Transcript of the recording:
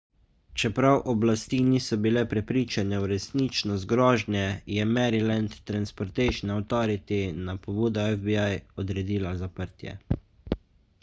čeprav oblasti niso bile prepričane v resničnost grožnje je maryland transportation authority na pobudo fbi odredila zaprtje